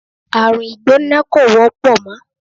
Àrùn ìgbóná kò wọ́pọ̀ mọ́.